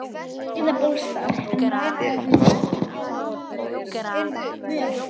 Breiðabólsstað, en varaðu þig á lausamöl.